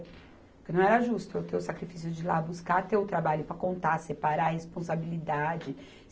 Porque não era justo eu ter o sacrifício de ir lá buscar, ter o trabalho para contar, separar a responsabilidade.